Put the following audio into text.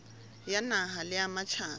ya naha le ya matjhaba